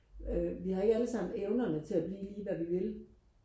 øh vi har ikke alle sammen evnerne til at blive lige hvad vi vil